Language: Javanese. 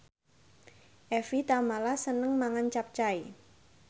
Evie Tamala seneng mangan capcay